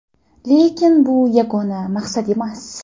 Lekin bu yagona maqsad emas.